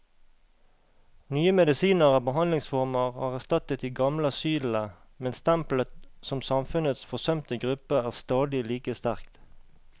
Nye medisiner og behandlingsformer har erstattet de gamle asylene, men stempelet som samfunnets forsømte gruppe er stadig like sterkt.